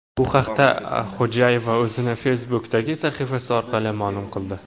Bu haqda Xo‘jayeva o‘zining Facebook’dagi sahifasi orqali ma’lum qildi .